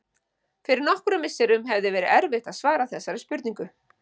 Fyrir nokkrum misserum hefði verið erfitt að svara þessari spurningu.